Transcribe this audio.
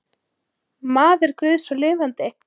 Maður guðs og lifandi.